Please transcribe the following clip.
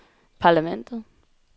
parlamentet